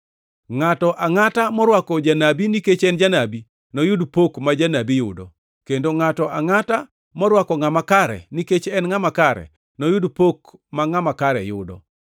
Ngʼato angʼata morwako janabi, nikech en janabi, noyud pok ma janabi yudo, kendo ngʼato angʼata morwako ngʼama kare, nikech en ngʼama kare, noyud pok ma ngʼama kare yudo.